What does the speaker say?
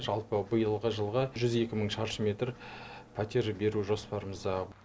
жалпы биылғы жылға жүз екі мың шаршы метр пәтер беру жоспарымызда